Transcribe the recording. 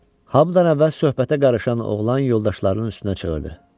Hamıdan əvvəl söhbətə qarışan oğlan yoldaşlarının üstünə çığırdı: